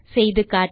செய்து காட்ட